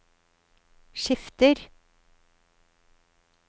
skifter